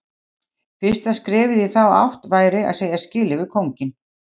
Fyrsta skrefið í þá átt væri að segja skilið við kónginn.